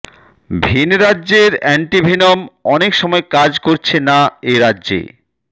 ভিন রাজ্যের অ্যান্টিভেনম অনেক সময় কাজ করছে না এ রাজ্যে